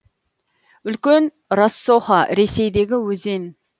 үлкен рассоха ресейдегі өзен